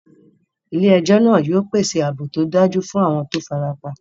Ilé ejó náà yio pèsè ààbò tódájú fún àwon to farapa